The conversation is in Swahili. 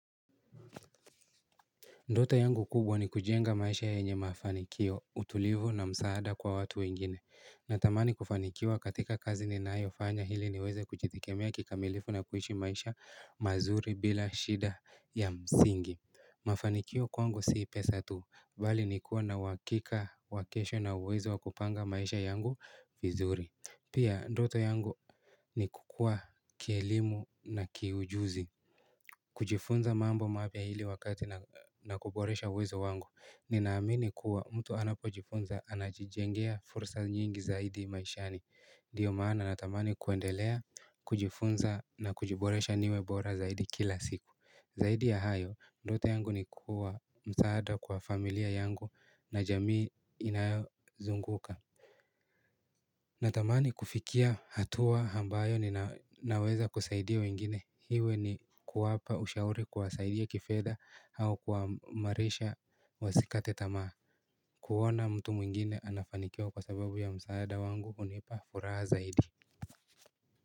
Ndota yangu kubwa ni kujenga maisha yenye mafanikio, utulivu na msaada kwa watu wengine. Natamani kufanikiwa katika kazi ninayo fanya hili niweze kujitegemea kikamilifu na kuishi maisha mazuri bila shida ya msingi. Mafanikio kwangu si pesa tu, bali ni kuwa na wakika wa kesho na uwezo wakupanga maisha yangu vizuri. Pia, ndota yangu ni kukua kielimu na kiujuzi. Kujifunza mambo mapya hili wakati na kuboresha uwezo wangu ninaamini kuwa mtu anapo jifunza anajijengea fursa nyingi zaidi maishani Ndiyo maana natamani kuendelea kujifunza na kujiboresha niwe bora zaidi kila siku Zaidi ya hayo, ndoto yangu ni kuwa msaada kwa familia yangu na jamii inayozunguka Natamani kufikia hatua hambayo ninaweza kusaidia wengine hiwe ni kuwapa ushauri kuwasaidia kifedha hau kuwamarisha wasikate tamaa kuona mtu mwingine anafanikiwa kwa sababu ya msaada wangu hunipa furaha zaidi.